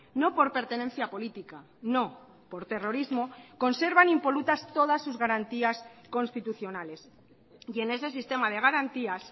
no por pertenencia política no por terrorismo conservan impolutas todas sus garantías constitucionales y en ese sistema de garantías